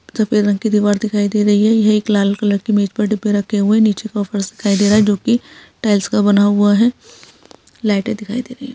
सफेद रंग की दीवार दिखाई दे रही हैं। ये एक लाल कलर के मेज पे डिब्बे रखे हुए हैं। नीचे फर्श दिखाई दे रहा हैं जोकी टाइल्स का बना हुआ हैं। लाईटे दिखाई दे रही हैं।